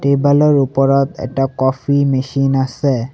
টেবলৰ ওপৰত এটা coffee machine আছে।